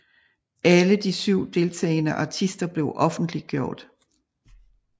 Alle de 7 deltagende artister blevet offentliggjort